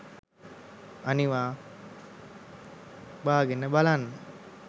අනිවා බාගෙන බලන්න